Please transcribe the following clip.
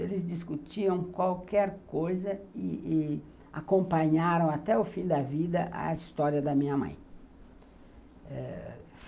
Eles discutiam qualquer coisa e e acompanharam até o fim da vida a história da minha mãe, eh